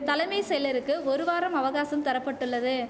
தலைமை செயலருக்கு ஒரு வாரம் அவகாசம் தர பட்டுள்ளது